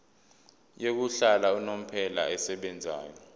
yokuhlala unomphela esebenzayo